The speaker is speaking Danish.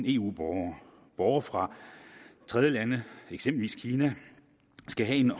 eu borgere borgere fra tredjelande eksempelvis kina skal have en